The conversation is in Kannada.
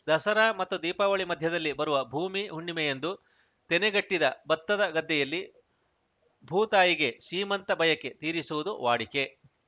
ದಸರಾ ಮತ್ತು ದೀಪಾವಳಿ ಮಧ್ಯದಲ್ಲಿ ಬರುವ ಭೂಮಿ ಹುಣ್ಣಿಮೆಯಂದು ತೆನೆಗಟ್ಟಿದ ಬತ್ತದ ಗದ್ದೆಯಲ್ಲಿ ಭೂತಾಯಿಗೆ ಸೀಮಂತ ಬಯಕೆ ತೀರಿಸುವುದು ವಾಡಿಕೆ